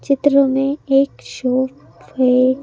चित्रों में एक शोक है।